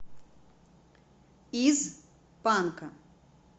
из панка